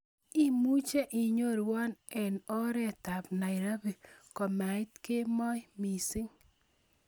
Imuche inyorwon eng' ooreetab Nairobi komait kemoi miising'